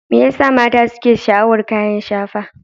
Me yasa mata suke sha'awar kayan shafa?